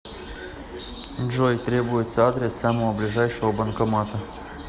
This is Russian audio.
джой требуется адрес самого ближайшего банкомата